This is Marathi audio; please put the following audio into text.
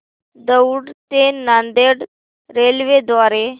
दौंड ते नांदेड रेल्वे द्वारे